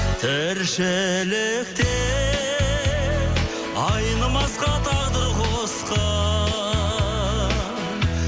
тіршілікте айнымасқа тағдыр қосқан